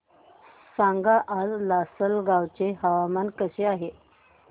सांगा आज लासलगाव चे हवामान कसे आहे